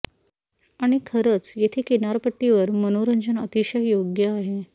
आणि खरंच येथे किनारपट्टीवर मनोरंजन अतिशय योग्य आहे